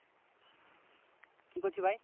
কি করছিস ভাই?